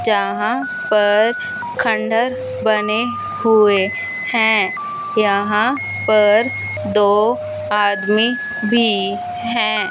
जहां पर खंडर बने हुए हैं यहां पर दो आदमी भी है।